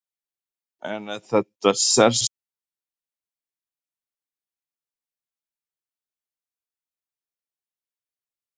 En var þetta sérstaklega góður dagur hjá þýska liðinu eða eru þær bara svona sterkar?